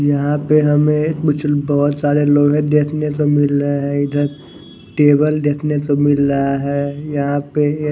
यहा पर हमे एक बुजुल बहोत सारे लोहे देखने को मिल रहे है टेबल देखने को मिल रहा है यहा पे एक--